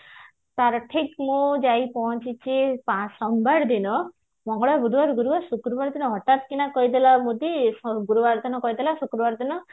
ତାର ଠିକ ମୁଁ ପହଞ୍ଚିଛି ଯାଇ ସୋମବାର ଦିନ ମଙ୍ଗଳବାର ବୁଧବାର ଗୁରୁବାର ଶୁକ୍ରବାର ଦିନ ହଠାତ କିଣା କହୁଥିଲା ଗୁରୁବାର ଦିନ କହୁଥିଲା ଶୁକ୍ରବାର ଦିନ